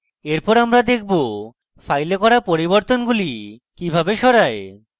এরপর আমরা দেখব file করা পরিবর্তনগুলি কিভাবে সরায়